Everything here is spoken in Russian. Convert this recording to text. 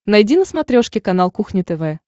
найди на смотрешке канал кухня тв